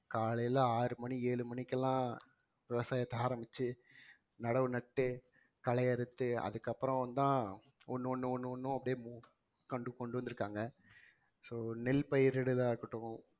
காலையில ஆறு மணி ஏழு மணிக்கெல்லாம் விவசாயத்தை ஆரம்பிச்சு நடவு நட்டு களையறுத்து அதுக்கப்புறம்தான் ஒண்ணு ஒண்ணு ஒண்ணு அப்படியே கொண்டு வந்திருக்காங்க so நெல் பயிரிடுதலா இருக்கட்டும்